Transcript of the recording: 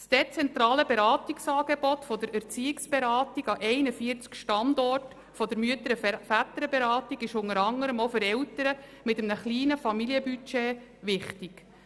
Das dezentrale Beratungsangebot der Erziehungsberatung an 41 Standorten der Mütter- und Väterberatung ist unter anderem auch für Eltern mit einem kleinen Familienbudget wichtig.